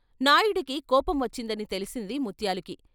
నాయుడికి కోపం వచ్చిందని తెలిసింది ముత్యాలుకి.